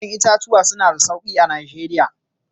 Ƴa'ƴan itatuwa suna da sauƙi a Najeriya.